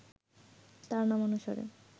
তাঁর নামানুসারে